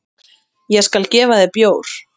Ég skal gefa þér bjór.